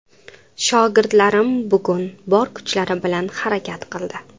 Shogirdlarim bugun bor kuchlari bilan harakat qildi.